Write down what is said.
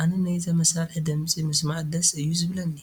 ኣነ ናይዛ መሳርሒ ድምፂ ምስማዕ ደስ እዩ ዝብለኒ፡፡